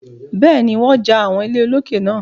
Bẹ́ẹ̀ni, wọ́n ja àwọn ilé olókè náà.